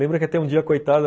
Lembra que até um dia, coitada,